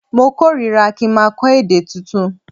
Mo kórira ki n maa kó̩ èdè tuntun